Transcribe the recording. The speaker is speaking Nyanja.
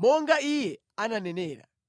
monga Iye ananenera.”